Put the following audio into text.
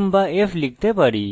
m বা f লিখতে পারি